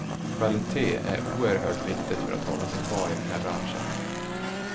Kvalitet är oerhört viktigt för att hålla sig kvar i den här branschen.